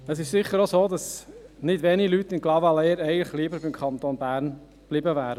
Es ist sicher auch so, dass nicht wenige Leute in Clavaleyres eigentlich lieber beim Kanton Bern geblieben wären.